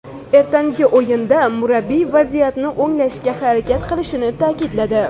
Ertangi o‘yinda murabbiy vaziyatni o‘nglashga harakat qilishini ta’kidladi.